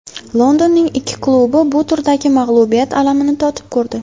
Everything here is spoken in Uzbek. Londonning ikki klubi bu turda mag‘lubiyat alamini totib ko‘rdi.